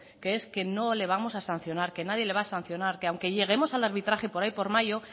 que es que no le vamos a sancionar que nadie le va a sancionar que aunque lleguemos al arbitraje por ahí por mayo